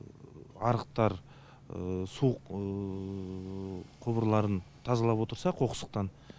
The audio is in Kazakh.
арықтар су құбырларын тазалап отырса қоқсықтан